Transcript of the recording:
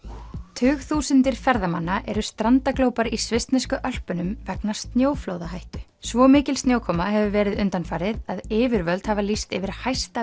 tugþúsundir ferðamanna eru strandaglópar í svissnesku Ölpunum vegna snjóflóðahættu svo mikil snjókoma hefur verið undanfarið að yfirvöld hafa lýst yfir hæsta